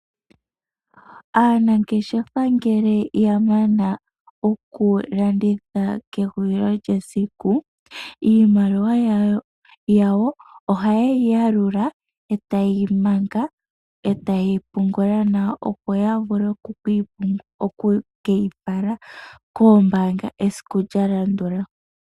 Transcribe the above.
Aanangeshefa ngele ya mana okulanditha kehulilo lyesiku, iimaliwa yawo ohaye yi yalula e taye yi manga, e taye yi pungula nawa opo ya vule oku ke yi fala koombanga esiku lya landula.